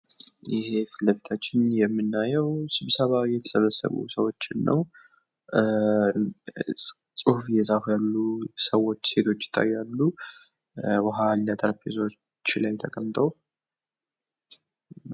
ይሄ በፊት ለፊት የምናየዉ ስብሰባ የተሰበሰቡ ሰዎችን ነዉ። ፅሁፍ እየፃፉ ያሉ ሰዎች ሴቶች ይታያሉ። ዉኃ አለ ጠረጴዛዎች ላይ ተቀምጠዉ፤